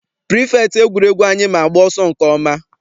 Pirifektị egwuregwu anyị ma agba ọsọ nke ọma.